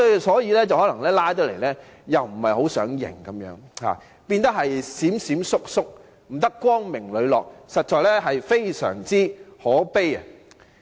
所以，今次他們不想承認"拉布"，變得"閃閃縮縮"，極不光明磊落，實在非常可悲。